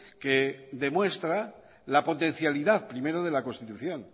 que demuestra la potencialidad primero de la constitución